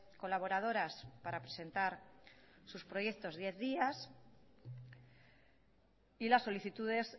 colaboradoras para presentar sus proyectos diez días y las solicitudes